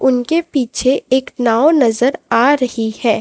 उनके पीछे एक नाव नजर आ रही है।